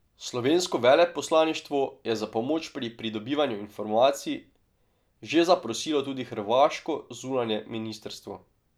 Slovensko veleposlaništvo je za pomoč pri pridobivanju informacij že zaprosilo tudi hrvaško zunanje ministrstvo.